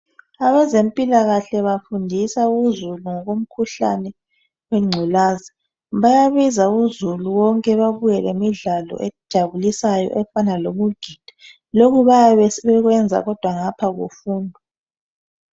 Abezempilakahle bafundisa uzulu ngokwezemkhuhlane yengculazi bayabiza uzulu wonke bebuye lemidlalo ejabulisayo efan lokugida lokhu bayabe sebekwenza kodwa ngapha kufundwa